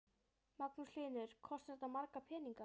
Magnús Hlynur: Kostar þetta marga peninga?